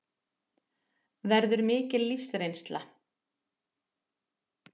Verður mikil lífsreynsla